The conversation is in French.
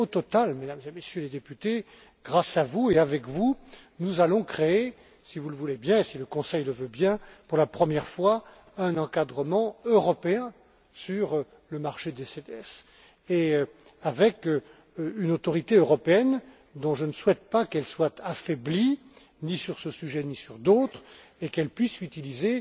Mais au total, Mesdames et Messieurs les députés, grâce à vous et avec vous, nous allons créer, si vous le voulez bien et si le Conseil le veut bien, pour la première fois, un encadrement européen sur le marché des CDS, avec une autorité européenne dont je ne souhaite pas qu'elle soit affaiblie, ni sur ce sujet, ni sur d'autres, et je tiens à ce qu'elle puisse utiliser